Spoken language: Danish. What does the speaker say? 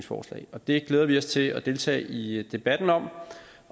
forslag og det glæder vi os til at deltage i debatten om